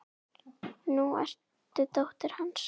Nú ertu dóttir hans.